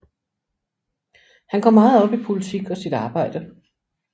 Han går meget op i politik og sit arbejde